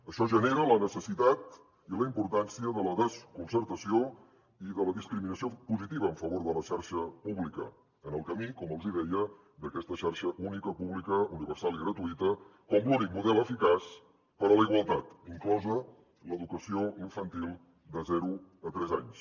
això genera la necessitat i la importància de la desconcertació i de la discriminació positiva en favor de la xarxa pública en el camí com els deia d’aquesta xarxa única pública universal i gratuïta com l’únic model eficaç per a la igualtat inclosa l’educació infantil de zero a tres anys